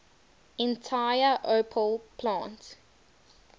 entire opel plant